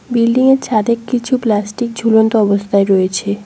বিল্ডিংয়ের ছাদে কিছু প্লাস্টিক ঝুলন্ত অবস্থায় রয়েছে।